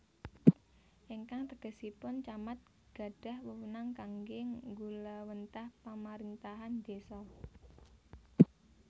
Ingkang tegesipun Camat gadhah wewenang kangge nggulawentah pamarintahan désa